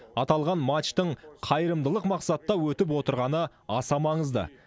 аталған матчтың қайырымдылық мақсатта өтіп отырғаны аса маңызды